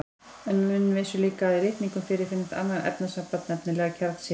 En menn vissu líka að í litningum fyrirfinnst annað efnasamband, nefnilega kjarnsýra.